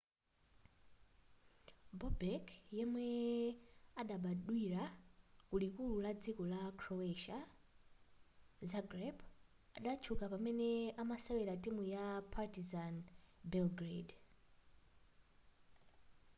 bobek yemwe adabadwira kulikulu la dziko la croatia zagreb adatchuka pamene amasewera timu ya partizan belgrade